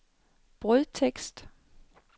brødtekst